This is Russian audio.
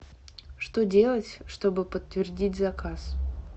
что делать чтобы подтвердить заказ